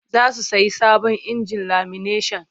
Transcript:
Za su sayi sabon injin lamineshan.